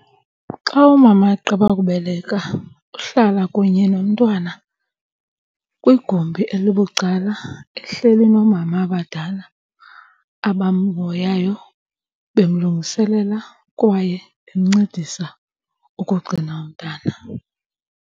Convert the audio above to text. Xa umama egqiba ukubeleka uhlala kunye nomntwana kwigumbi elibucala ehleli noomama abadala abamhoyayo, bemlungiselela kwaye bemncedisa ukugcina umntana.